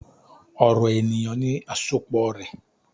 "Ọrọ eniyan ni asopọ rẹ."